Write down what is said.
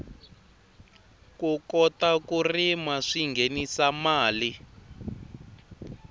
ku kota ku rima swinghenisa mali